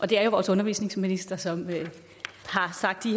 det er jo vores undervisningsminister som har sagt